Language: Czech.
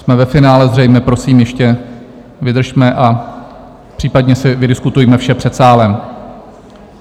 Jsme ve finále zřejmě, prosím, ještě vydržme a případně si vydiskutujme vše před sálem.